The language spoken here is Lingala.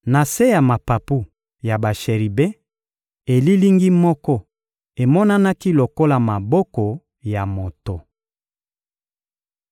Na se ya mapapu ya basheribe, elilingi moko emonanaki lokola maboko ya moto.